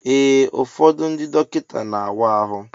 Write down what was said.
Ee ụfọdụ ndị dọkịta na awa ahụ.